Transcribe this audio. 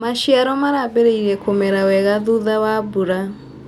Maciaro marambirie kũmera wega thutha wa mbura.